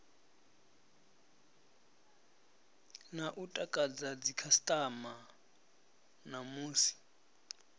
na u takadza dzikhasitama namusi